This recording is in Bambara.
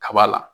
Kaba la